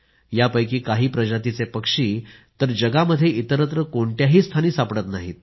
यापैकी काही प्रजातीचे पक्षी तर जगामध्ये इतरत्र कोणत्याही स्थानी सापडत नाहीत